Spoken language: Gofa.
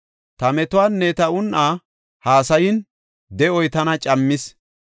Ta metuwanne ta un7aa hassayin de7oy tana cammis.